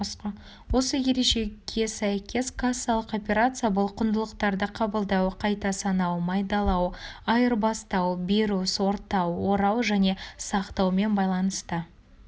осы ережеге сәйкес кассалық операция бұл құндылықтарды қабылдау қайта санау майдалау айырбастау беру сортау орау және сақтаумен байланысты